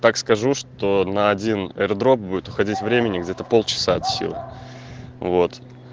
так скажу что на один аердроп будет уходить времени где-то полчаса от силы вот